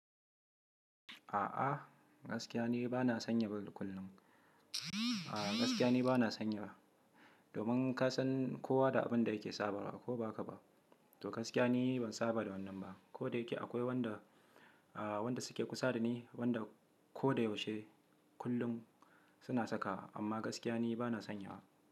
A'a gaskiya ne bana sanya ba kullum. A'a gaskiya ne bana sanya ba. Domin ka san kowa da abin da yake saba wa ko ba haka ba. To gaskiya ne ban saba da wannan ba, koda yake akwai wanda, a wanda suke kusa da ni wanda ko da yaushe kullum suna saka amma gaskiya ne bana sanya wa.